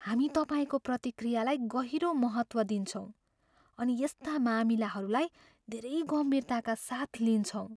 हामी तपाईँको प्रतिक्रियालाई गहिरो महत्त्व दिन्छौँ अनि यस्ता मामिलाहरूलाई धेरै गम्भीरताका साथ लिन्छौँ।